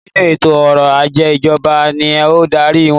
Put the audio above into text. Nínú eto ọrọ̀ ajé ìjọba ni o n darí wọn